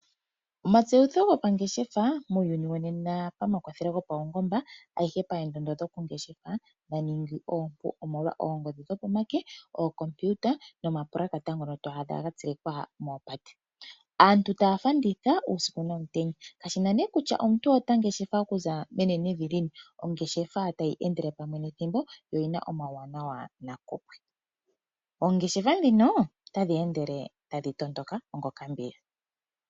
Omatseyitho gopaipindi muuyuni wonena pakwathelo gopaungomba adhihe paendondo dhokungeshefa dha ningi oompu omolwa oongodhi dhopomake, ookompiuta nomapulakata gono to adha ga tsilikwa moopate. Aantu taa fanditha uusiku nomutenya, kashi na nduno kutya omuntu ota ngeshefa okuza menenevi lini. Ongeshefa tayi endele pamwe nethimbo yo oyi na uuwanawa nakupwe. Oongeshefa ndhino otadhi ende tadhi tondoka ngokambiya.